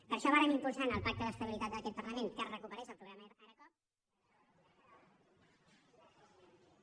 per això vàrem impulsar en el pacte d’estabilitat d’aquest parlament que es recuperés el programa ara coop